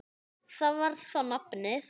Það var þá nafnið.